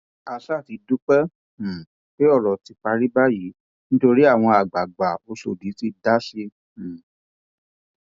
a ṣáà ti dúpẹ um pé ọrọ ti parí báyìí nítorí àwọn àgbààgbà ọṣódì ti dá sí um i